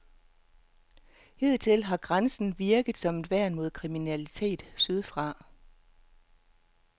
Hidtil har grænsen virket som et værn mod kriminalitet sydfra.